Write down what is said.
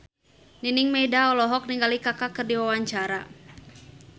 Nining Meida olohok ningali Kaka keur diwawancara